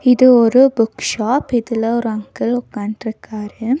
இது ஒரு book shop இதுல ஒரு அங்கிள் உட்கான்ட்டுருக்காரு.